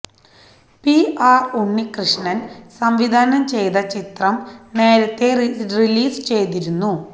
P R Unnikrishnan സംവിധാനം ചെയ്ത ചിത്രം നേരത്തേ റിലീസ് ചെയ്തിരുന്നു